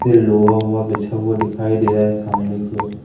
ये लोआ ओआ बिछा हुआ दिखाई दे रहा है सामने कि ओर--